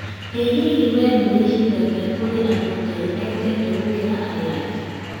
ĩ hihi we nĩ wĩciragia kũrĩ andũ Ngai endete gũkĩra arĩa angĩ?